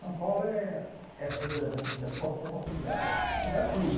São Paulo é cidade das oportunidades, te dá tudo.